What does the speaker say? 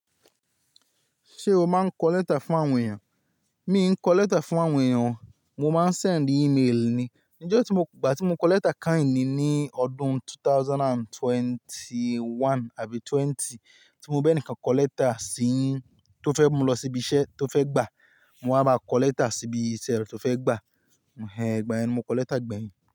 Ṣé o máa ń kọ lẹ́tà fún àwọn èèyàn? Mi i ń kọ lẹ́tà fún àwọn èèyàn, mo máa ń send email ni. Nijẹ́ tí mo, ìgbà tí mo kọ lẹ́tà kain ni ní ọdún 2021 àbí 20 tí mo bẹ ní ǹkan kọ lẹ́tà sí yin tó fẹ́ mú lọ síbi iṣẹ́ tó fẹ́ gbà, mo máa bá kọ lẹ́tà síbi iṣẹ́ tó fẹ́ gbà. Ẹ̀gbà ẹni, mo kọ lẹ́tà gbẹ̀yìn.